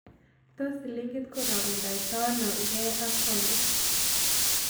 Tos' silingiit karogendoito ano gee ak paondit